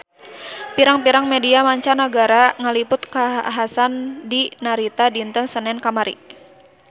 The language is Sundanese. Pirang-pirang media mancanagara ngaliput kakhasan di Narita dinten Senen kamari